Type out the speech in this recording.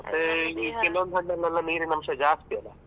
ಕೆಲವೊಂದು ಹಣ್ಣಿನಲ್ಲಿ ನೀರಿನ ಅಂಶ ಜಾಸ್ತಿ ಅಲ.